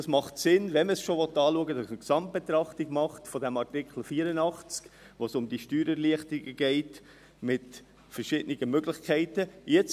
Es macht Sinn, wenn man es schon anschauen will, dass man eine Gesamtbetrachtung des Artikels 84 macht, wo es um die Steuererleichterung mit verschiedenen Möglichkeiten geht.